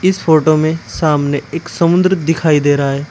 इस फोटो में सामने एक समुद्र दिखाई दे रहा है।